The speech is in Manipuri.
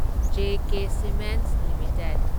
J K cements limited